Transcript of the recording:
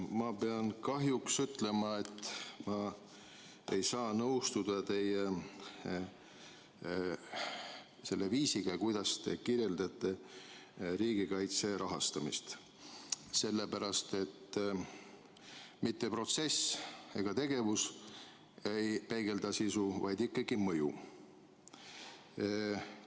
Ma pean kahjuks ütlema, et ma ei saa nõustuda selle viisiga, kuidas te kirjeldate riigikaitse rahastamist, sellepärast et mitte protsess ega tegevus ei peegelda sisu, vaid ikkagi mõju.